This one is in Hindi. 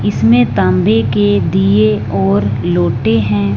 इसमें तांबे के दिए और लोटे हैं।